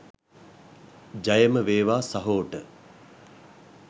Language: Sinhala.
ජයම වේවා සහෝට .